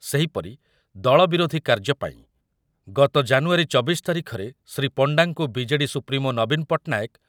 ସେହିପରି ଦଳ ବିରୋଧୀ କାର୍ଯ୍ୟପାଇଁ ଗତ ଜାନୁୟାରୀ ଚବିଶ ତାରିଖରେ ଶ୍ରୀ ପଣ୍ଡାଙ୍କୁ ବି.ଜେ.ଡି. ସୁପ୍ରିମୋ ନବୀନ ପଟ୍ଟନାୟକ